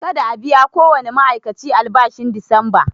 Kada a biya kowane ma'aikaci albashin disamba!